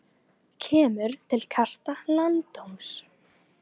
Kemur til kasta landsdóms